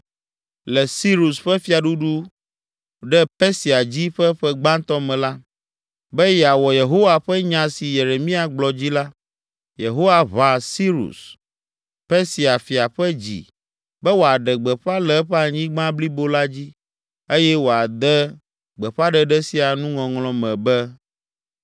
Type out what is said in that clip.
Le Sirus ƒe fiaɖuɖu ɖe Persia dzi ƒe ƒe gbãtɔ me la, be yeawɔ Yehowa ƒe nya si Yeremia gblɔ dzi la, Yehowa ʋa Sirus, Persia fia ƒe dzi be wòaɖe gbeƒã le eƒe anyigba blibo la dzi eye wòade gbeƒãɖeɖe sia nuŋɔŋlɔ me be,